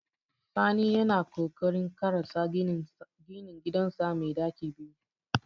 Sani yana kokarin ƙarasa ginin gidansa mai ɗaki biyu.